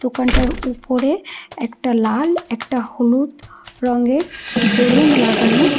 দোকানটার উপরে একটা লাল একটা হলুদ রঙের বেলুন লাগানো।